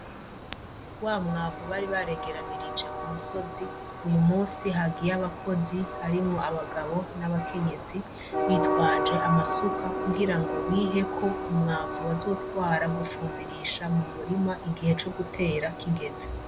Wa mwavu bari baregeranirije k'umusozi, uyu musi hagiyeyo abakozi, harimwo abagabo n'abakenyezi bitwaje amasuka kugirango biheko umwavu bazotwara gufumbirisha mumurima igihe co gutera kigeze.